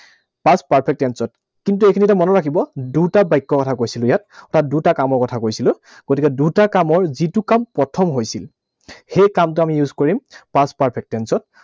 Past perfect tense ত। কিন্তু এইখিনিতে মনত ৰাখিব, দুটা বাক্যৰ কথা কৈছিলো ইয়াত। অৰ্থাৎ দুটা কামৰ কথা কৈছিলো। গতিকে দুটা কামৰ যিটো কাম প্ৰথম হৈছিল, সেই কামটো আমি use কৰিম past perfect tense ত।